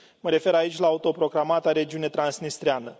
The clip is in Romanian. Mă refer aici la autoproclamata regiunea transnistreană.